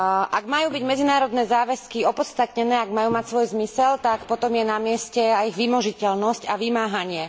Ak majú byť medzinárodné záväzky opodstatnené, ak majú mať svoj zmysel, tak potom je na mieste aj ich vymožiteľnosť a vymáhanie.